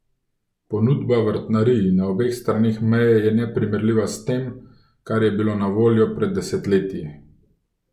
Ponudba vrtnarij na obeh straneh meje je neprimerljiva s tem, kar je bilo na voljo pred desetletji.